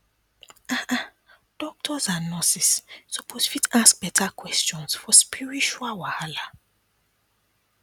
um doctors and nurses suppose fit ask beta questions for spiritual wahala